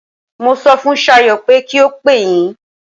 Mo sọ fun Sayo pé kí ó pè yín.